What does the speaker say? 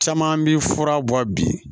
Caman bi fura bɔ bi